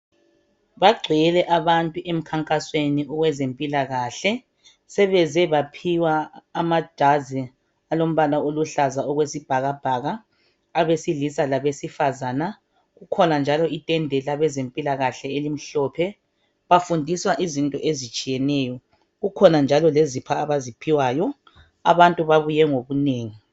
Bagcwele abantu emkhankasweni wezempilakahle sebeze baphiwa amajazi alombala oluhlaza okwesibhakabhaka abesilisa labesifazana kukhona njalo itende labezempilakahle elimhlophe bafundiswa izinto ezitshiyeneyo kukhona njalo lezipho abaziphiwayo abantu babuye ngobunengi.